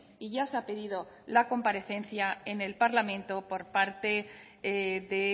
y ya se ha pedido la comparecencia en el parlamento por parte de